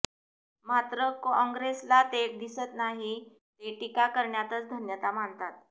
मात्र कॉंग्रेसला ते दिसत नाही ते टीका करण्यातच धन्यता मानतात